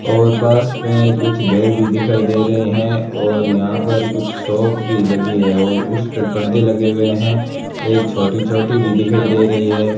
और पास में कुछ घर भी दिखाई दे रहे हैं और यहां पर कुछ शॉप भी लगी है और उस पर पर्दे लगे हुए हैं एक छोटी छोटी भी दिखाई दे रही है।